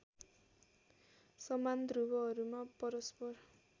समान ध्रुवहरूमा परस्पर